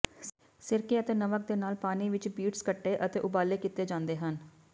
ਸਿਰਕੇ ਅਤੇ ਨਮਕ ਦੇ ਨਾਲ ਪਾਣੀ ਵਿਚ ਬੀਟਸ ਕੱਟੇ ਅਤੇ ਉਬਾਲੇ ਕੀਤੇ ਜਾਂਦੇ ਹਨ